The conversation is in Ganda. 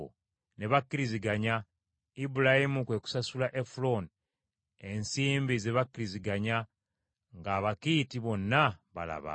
Ne bakkiriziganya, Ibulayimu kwe kusasula Efulooni ensimbi ze bakkirizaganya nga Abakiiti bonna balaba.